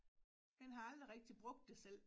Men har aldrig rigtig brugt det selv